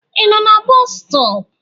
I nọ na boosu stop?